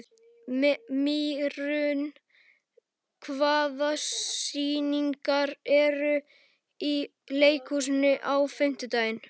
Mýrún, hvaða sýningar eru í leikhúsinu á fimmtudaginn?